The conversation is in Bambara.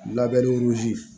Labɛnni